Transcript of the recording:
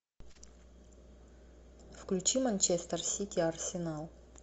включи манчестер сити арсенал